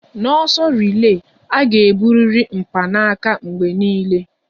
N'ọsọ rile, a ga-eburiri mpanaka mgbe niile